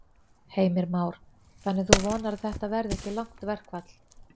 Heimir Már: Þannig að þú vonar að þetta verði ekki langt verkfall?